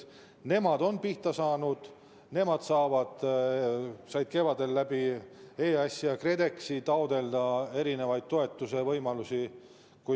Nad on pihta saanud ja nad said kevadel EAS‑i ja KredExi kaudu taotleda erinevaid toetusi.